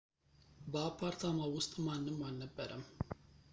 በአፓርታማው ውስጥ ማንም አልነበረም